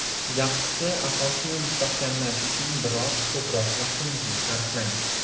Yaxshisi asosni mustahkamlash uchun biroz ko‘proq vaqtingizni sarflang.